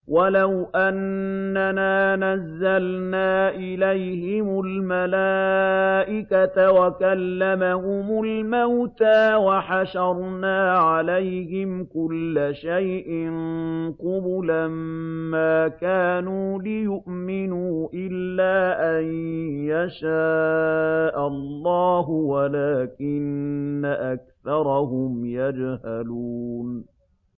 ۞ وَلَوْ أَنَّنَا نَزَّلْنَا إِلَيْهِمُ الْمَلَائِكَةَ وَكَلَّمَهُمُ الْمَوْتَىٰ وَحَشَرْنَا عَلَيْهِمْ كُلَّ شَيْءٍ قُبُلًا مَّا كَانُوا لِيُؤْمِنُوا إِلَّا أَن يَشَاءَ اللَّهُ وَلَٰكِنَّ أَكْثَرَهُمْ يَجْهَلُونَ